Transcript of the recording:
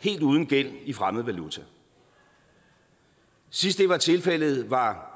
helt uden gæld i fremmed valuta sidst det var tilfældet var